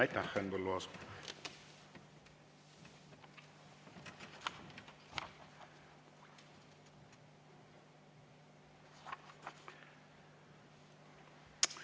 Aitäh, Henn Põlluaas!